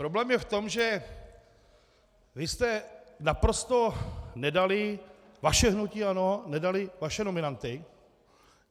Problém je v tom, že vy jste naprosto nedali, vaše hnutí ANO nedalo vaše nominanty.